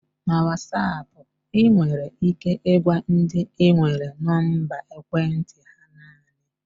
Na Wasap, ị nwere ike ịgwa ndị ị nwere nọmba ekwentị ha naanị.